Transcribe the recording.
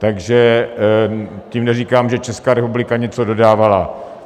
Takže tím neříkám, že Česká republika něco dodávala.